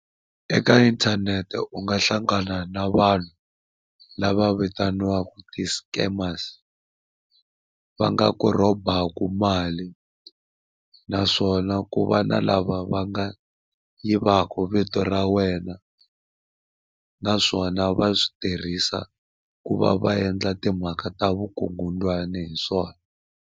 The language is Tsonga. Eka inthanete u nga hlangana na vanhu lava vitaniwaka ti-scammers va nga ku rhobaku mali. Naswona ku va na lava va nga yivaka vito ra wena naswona va swi tirhisa ku va va endla timhaka ta vukungundzwani hi swona.